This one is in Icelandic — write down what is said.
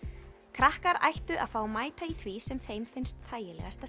krakkar ættu að fá að mæta í því sem þeim finnst þægilegast